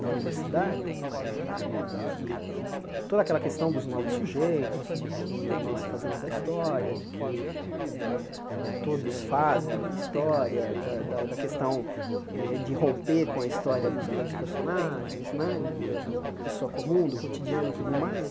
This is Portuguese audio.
na universidade, eh que que toda aquela questão dos novos sujeitos, de que nós fazemos a história, de que eh eh todos fazem a história, da da questão eh de romper com a história dos grandes personagens né, do da pessoa comum, do cotidiano e tudo mais.